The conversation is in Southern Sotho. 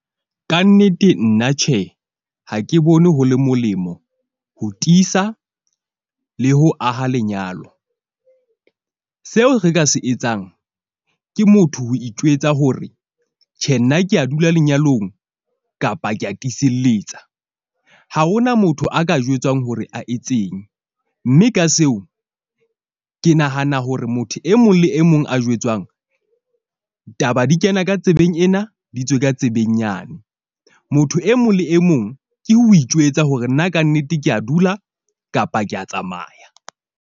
Kannete nna tjhe, ha ke bone ho le molemo ho tiisa le ho aha lenyalo. Seo re ka se etsang ke motho, ho itjwetsa hore tjhe, nna ke a dula lenyalong kapa ka tiselletsa. Ha hona motho a ka jwetswang hore a etseng. Mme ka seo ke nahana hore motho e mong le e mong a jwetswang taba di kena ka tsebeng ena, di tswe ka tsebeng nyane. Motho e mong le e mong ke ho itjwetsa hore nna kannete ke a dula kapa ke a tsamaya.